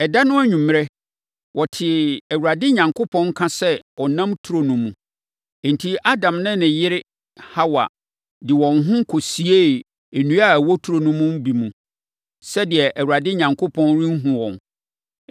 Ɛda no anwummerɛ, wɔtee Awurade Onyankopɔn nka sɛ ɔnam turo no mu. Enti, Adam ne ne yere Hawa de wɔn ho kɔsiee nnua a ɛwɔ turo mu hɔ no mu sɛdeɛ Awurade Onyankopɔn renhunu wɔn.